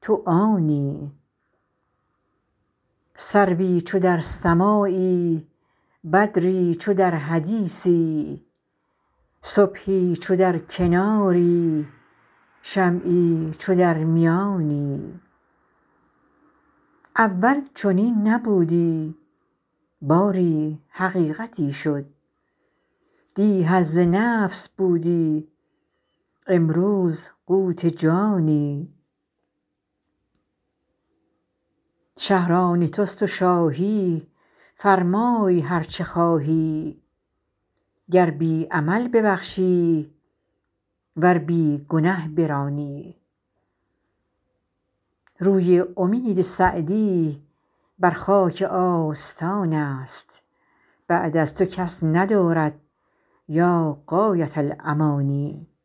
تو آنی سروی چو در سماعی بدری چو در حدیثی صبحی چو در کناری شمعی چو در میانی اول چنین نبودی باری حقیقتی شد دی حظ نفس بودی امروز قوت جانی شهر آن توست و شاهی فرمای هر چه خواهی گر بی عمل ببخشی ور بی گنه برانی روی امید سعدی بر خاک آستان است بعد از تو کس ندارد یا غایة الامانی